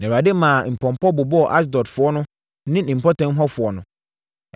Na Awurade maa mpɔmpɔ bobɔɔ Asdodfoɔ ne ne mpɔtam hɔfoɔ no.